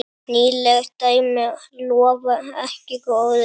Nýleg dæmi lofa ekki góðu.